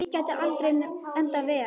Slíkt getur aldrei endað vel.